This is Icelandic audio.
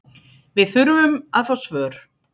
Við þurfum að fá svör